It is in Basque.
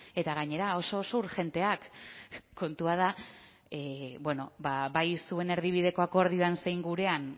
eta gainera oso oso urgenteak kontua da bueno bai zuen erdibideko akordioan zein gurean